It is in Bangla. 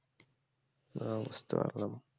ও বুঝতে পারলাম